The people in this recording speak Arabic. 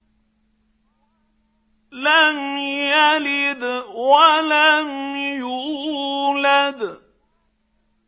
لَمْ يَلِدْ وَلَمْ يُولَدْ